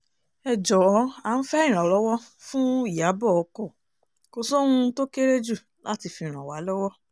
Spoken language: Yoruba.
ẹ jọ̀ọ́ à ń fẹ́ ìrànlọ́wọ́ fún ìyàbọ̀ ọkọ̀ kò sóhun tó kéré jù láti fi ràn wá lọ́wọ́